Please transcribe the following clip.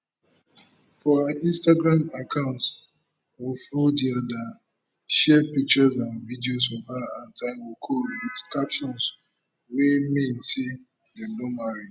for her instagram account share pictures and videos of her and taiwo cole wit captions wey mean say dem don marry